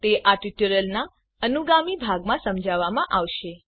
તે ટ્યુટોરીયલના અનુગામી ભાગમાં સમજાવવામાં આવશે